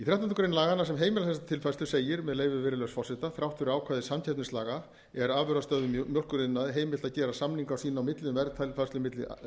greinar laganna sem heimilar þessa tilfærslu segir með leyfi virðulegs forseta þrátt fyrir ákvæði samkeppnislaga er afurðastöðvum í mjólkuriðnaði heimilt að gera samninga sín á milli um verðtilfærslu milli